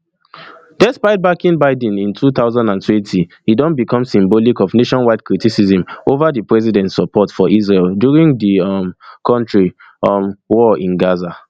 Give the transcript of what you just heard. despite backing biden in two thousand and twenty e don become symbolic of nationwide criticism ova di president support for israel during di um kontri um war in gaza